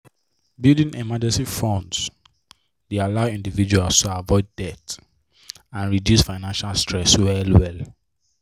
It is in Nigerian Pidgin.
building emergency fund dey allow individuals to avoid debt and reduce financial stress well well.